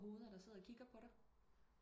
Hoveder der sidder og kigger på dig